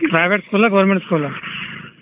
Private school ಆ government school ಆ ?